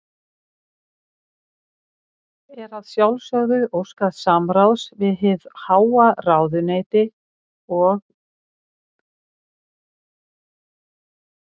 Er að sjálfsögðu óskað samráðs við hið háa ráðuneyti og